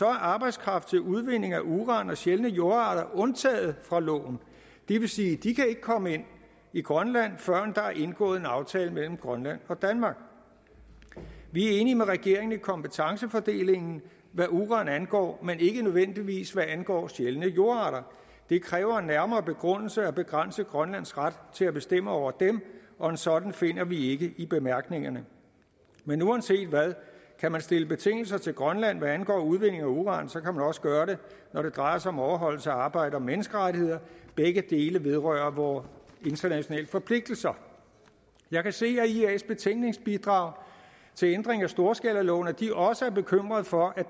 er arbejdskraft til udvinding af uran og sjældne jordarter undtaget fra loven og det vil sige at de ikke kan komme ind i grønland førend der er indgået en aftale mellem grønland og danmark vi er enige med regeringen i kompetencefordelingen hvad uran angår men ikke nødvendigvis hvad angår sjældne jordarter det kræver en nærmere begrundelse at begrænse grønlands ret til at bestemme over dem og en sådan finder vi ikke i bemærkningerne men uanset hvad kan man stille betingelser til grønland hvad angår udvindingen af uran så kan man også gøre det når det drejer sig om overholdelsen af arbejds og menneskerettigheder da begge dele vedrører vore internationale forpligtelser jeg kan se af ias betænkningsbidrag til ændring af storskalaloven at de også er bekymret for